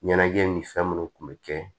Ɲɛnajɛ ni fɛn munnu kun be kɛ